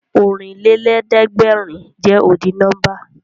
Ọ̀rìnlélẹ̀ẹ̀dẹ́gbèrin jẹ́ ọ́dì nọ́mbà